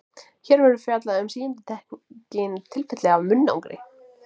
Hér verður fjallað um síendurtekin tilfelli af munnangri.